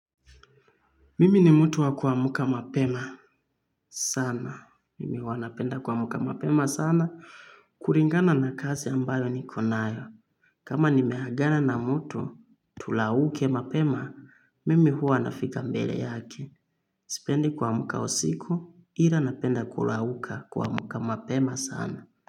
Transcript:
Mimi ni mtu wa kuamka mapema sana. Mimi hua napenda kwamuka mapema sana. Kuringana na kazi ambayo ni konayo. Kama nimeagana na mtu tulauke mapema, mimi hua nafika mbele yake. Sipendi kwamuka usiku, ila napenda kulauka kwamuka mapema sana.